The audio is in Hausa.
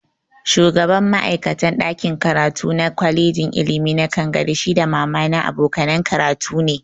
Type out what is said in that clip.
Shugaban ma'aikatan ɗakin karatu na kwalejin ilimi na Kangare shi da mama na abokanan karatu ne